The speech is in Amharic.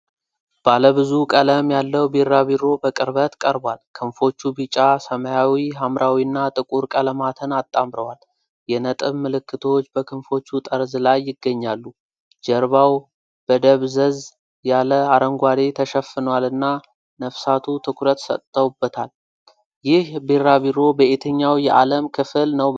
ባለ ብዙ ቀለም ያለው ቢራቢሮ በቅርበት ቀርቧል። ክንፎቹ ቢጫ፣ ሰማያዊ፣ ሐምራዊና ጥቁር ቀለማትን አጣምረዋል። የነጥብ ምልክቶች በክንፎቹ ጠርዝ ላይ ይገኛሉ። ጀርባው በደብዘዝ ያለ አረንጓዴ ተሸፍኗልና ነፍሳቱ ትኩረት ሰጥቶበታል። ይህ ቢራቢሮ በየትኛው የዓለም ክፍል ነው በብዛት የሚገኘው?